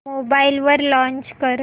mobile वर launch कर